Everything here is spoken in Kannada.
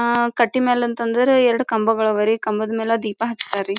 ಅಹ್ ಕಟ್ಟಿ ಮೇಲೆ ಅಂತ ಅಂದ್ರೆ ಎರಡು ಕಂಬಗಳು ಅವರಿ ಕಂಬದ ಮೇಲೆ ದೀಪ ಹಚ್ಚತ್ತರಿ .